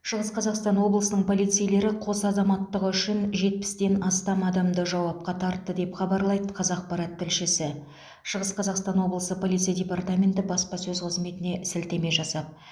шығыс қазақстан облысының полицейлері қос азаматтығы үшін жетпістен астам адамды жауапқа тартты деп хабарлайды қазақпарат тілшісі шығыс қазақстан облысы полиция департаменті баспасөз қызметіне сілтеме жасап